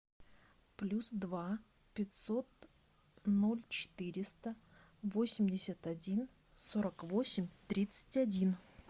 плюс два пятьсот ноль четыреста восемьдесят один сорок восемь тридцать один